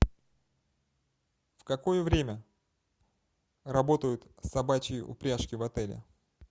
в какое время работают собачьи упряжки в отеле